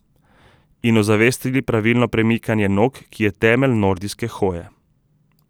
In ozavestili pravilno premikanje nog, ki je temelj nordijske hoje.